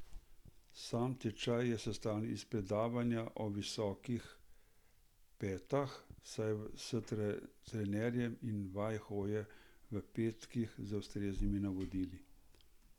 Sam tečaj je sestavljen iz predavanja o visokih petah, vaj s trenerjem in vaj hoje v petkah z ustreznimi navodili.